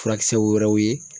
Furakisɛ wɛrɛw ye